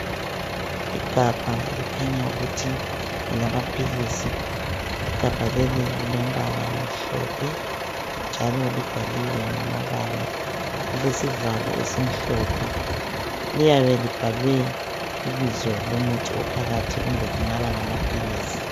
Igabha elikhanya ukuthi ngelamaphilisi igabha leli lilombala omhlophe njalo libhaliwe ngamabala lilesivalo esimhlophe liyabe libhalwe ibizo lomuthi ophakathi kumbe kungaba ngamaphilisi.